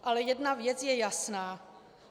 Ale jedna věc je jasná.